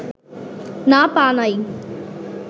না পা নাই